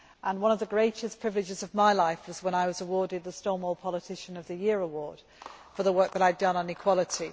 One of the greatest privileges of my life was when I was awarded the Stonewall Politician of the Year award for the work that I have done on equality.